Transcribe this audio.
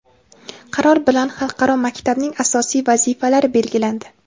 Qaror bilan xalqaro maktabning asosiy vazifalari belgilandi.